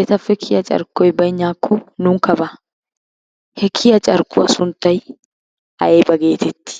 etappe kiyiya carkkoy baynnaakko nunkka baa, he kiyiya carkkuwa sunttay ayba geetetti?